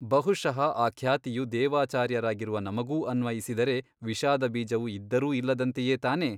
ಬಹುಶಃ ಆ ಖ್ಯಾತಿಯು ದೇವಾಚಾರ್ಯರಾಗಿರುವ ನಮಗೂ ಅನ್ವಯಿಸಿದರೆ ವಿಷಾದ ಬೀಜವು ಇದ್ದರೂ ಇಲ್ಲದಂತೆಯೇ ತಾನೇ?